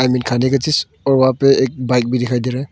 इनमे खाने का चीज़ और वहां पे एक बाइक भी दिखाई दे रहा है।